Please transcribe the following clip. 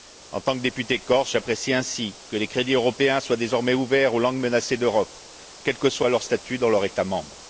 En tant que député corse, j'apprécie ainsi que les crédits européens soient désormais ouverts aux langues menacées d'Europe, quel que soit leur statut dans leur État membre.